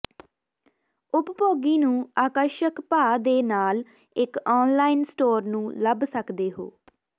ਉਪਭੋਗੀ ਨੂੰ ਆਕਰਸ਼ਕ ਭਾਅ ਦੇ ਨਾਲ ਇੱਕ ਆਨਲਾਈਨ ਸਟੋਰ ਨੂੰ ਲੱਭ ਸਕਦੇ ਹੋ